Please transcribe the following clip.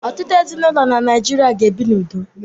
Ọtụtụ ezinụlọ n'Naịjirịa ga-ebi n’udo.